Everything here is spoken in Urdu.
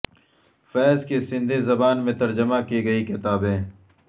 فیض کی سندھی زبان میں ترجمہ کی گئی کتابیں